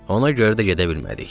Ona görə də gedə bilmədik.